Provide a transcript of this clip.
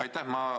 Aitäh!